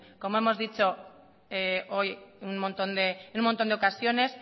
como hemos dicho hoy en un montón de ocasiones